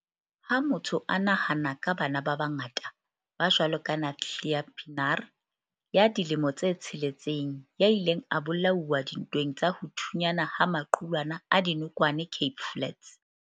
Ha motho a nahana ka bana ba bangata, ba jwalo ka Nathlia Pienaar, ya dilemo tse tsheletseng, ya ileng a bola uwa dintweng tsa ho thunyana ha maqulwana a dinokwane Cape Flats.